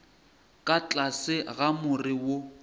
ka tlase ga more wo